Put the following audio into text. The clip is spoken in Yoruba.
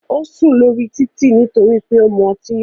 Ó sùn lórí títì nítorí pé ó mu ọtí yó.